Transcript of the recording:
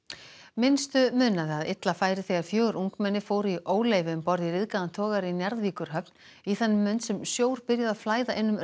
minnstu munaði að illa færi þegar fjögur ungmenni fóru í óleyfi um borð í ryðgaðan togara í Njarðvíkurhöfn í þann mund sem sjór byrjaði að flæða inn um